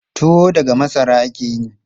Tuwo daga masara ake yi.